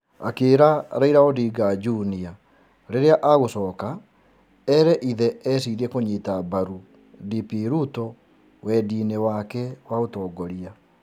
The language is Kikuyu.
Akĩĩra Raila Odinga Junior rĩrĩa agũcoka, ere ithe ecirie kũnyita mbaru DP Ruto wendĩ-inĩ wake wa ũtongoria.